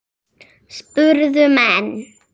spurðu menn.